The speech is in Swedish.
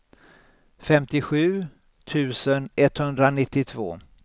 femtiosju tusen etthundranittiotvå